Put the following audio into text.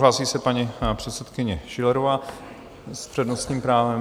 Hlásí se paní předsedkyně Schillerová s přednostním právem.